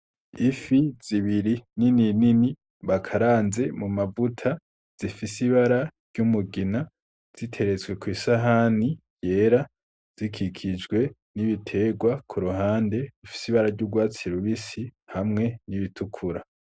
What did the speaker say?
Ifi zibiri nini nini bakaranze mumavuta zifise ibara ry'umugina ziteretswe kw'isahani yera zikikijwe n'ibiterwa kuruhande bifise ibara ry'urwatsi rubisi hamwe n'ibitukura.